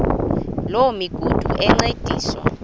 loo migudu encediswa